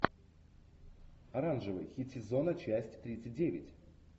оранжевый хит сезона часть тридцать девять